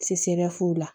Se bɛɛrɛ foyi la